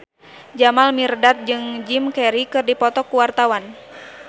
Jamal Mirdad jeung Jim Carey keur dipoto ku wartawan